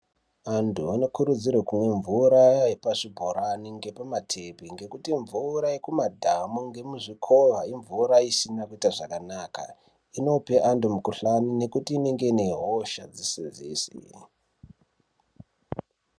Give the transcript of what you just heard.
Antu anokurudzirwe kumwa mvura yepachibhorani ngepamatepi ngekuti mvura yekumadhamu ngemuzvikowa imvura isina kuita zvakanaka, inope antu mukhuhlane ngekuti inenge inehosha dzese-dzese.